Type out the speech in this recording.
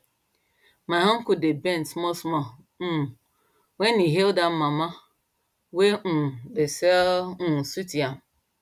my uncle dey bend small small um when he hail that mama wey um dey sell um sweet yam